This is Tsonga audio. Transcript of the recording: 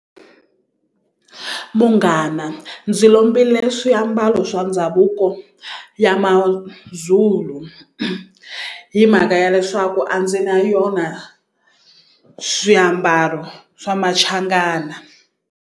Munghana ndzi lombile swiambalo swa ndhavuko ya Mazulu hi mhaka ya leswaku a ndzi na yona swiambalo swa Machangana.